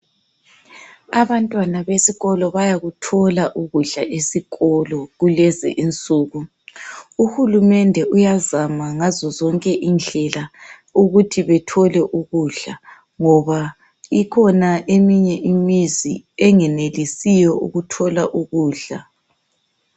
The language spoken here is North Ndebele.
Abantwana besikolo bayakuthola ukudla esikolo kulezi insuku. Uhulumende uyazama ngazo zonke indlela ukuthi bethole ukudla ngoba ikhona eminye imizi engenelisiyo ukuthola ukudla.